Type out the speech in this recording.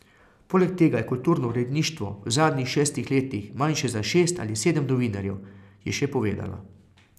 Poleg tega je kulturno uredništvo v zadnjih šestih letih manjše za šest ali sedem novinarjev, je še povedala.